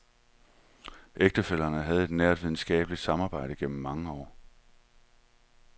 Ægtefællerne havde et nært videnskabeligt samarbejde gennem mange år.